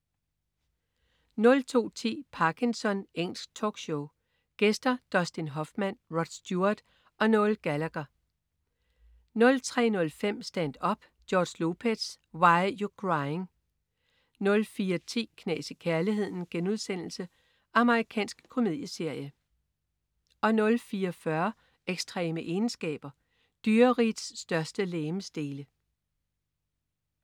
02.10 Parkinson. Engelsk talkshow. Gæster: Dustin Hoffman, Rod Stewart og Noel Gallagher 03.05 Stand-up: George Lopez. Why You Crying? 04.10 Knas i kærligheden.* Amerikansk komedieserie 04.40 Ekstreme egenskaber. Dyrerigets største legemsdele